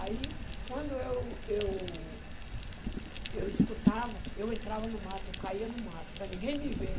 Aí, quando eu eu eu escutava, eu entrava no mato, eu caía no mato, para ninguém me ver.